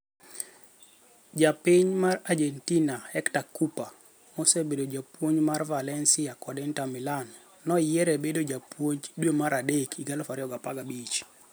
Ja piny mar Argentina Hector Cuper, mosebedo japuonj mar Valencia kod Inter Milan, noyiere bedo japuonj dwe mar adek 2015.